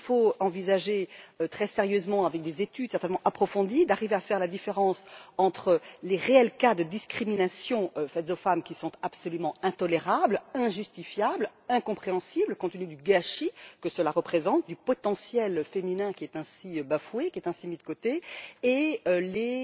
Il nous faut envisager, très sérieusement, avec des études certainement approfondies, d'arriver à faire la différence entre, d'une part, les réels cas de discriminations faites aux femmes, qui sont absolument intolérables, injustifiables et incompréhensibles, compte tenu du gâchis que cela représente et du potentiel féminin qui est ainsi bafoué et mis de côté, et, d'autre part, les